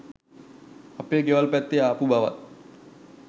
අපේ ගෙවල් පැත්තෙ ආපු බවත්